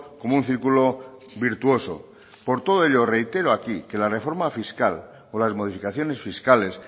como un círculo virtuoso por todo ello reitero aquí que la reforma fiscal o las modificaciones fiscales